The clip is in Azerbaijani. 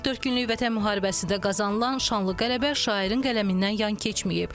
44 günlük Vətən müharibəsində qazanılan şanlı qələbə şairin qələmindən yan keçməyib.